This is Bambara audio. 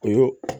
O y'o